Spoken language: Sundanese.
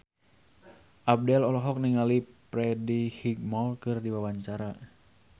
Abdel olohok ningali Freddie Highmore keur diwawancara